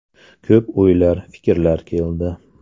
Ko‘p o‘ylar, fikrlar keldi.